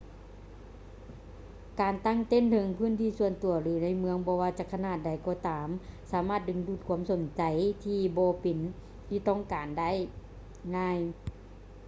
ການຕັ້ງເຕັ້ນເທິງພື້ນທີ່ສ່ວນຕົວ ຫຼື ໃນເມືອງບໍ່ວ່າຈະຂະໜາດໃດກໍຕາມສາມາດດຶງດູດຄວາມສົນໃຈທີ່ບໍ່ເປັນທີ່ຕ້ອງການໄດ້ງ່າຍ